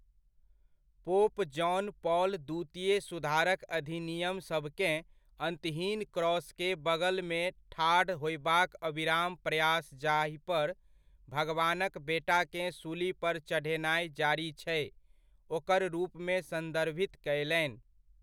Pope John Paul द्वितीय सुधारक अधिनियमसभकेँ अन्तहीन क्रॉसके बगलमे ठाढ़ होयबाक अविराम प्रयास जाहिपर भगवानक बेटाकेँ सूली पर चढ़ेनाइ जारी छै, ओकर रूपमे सन्दर्भित कयलनि।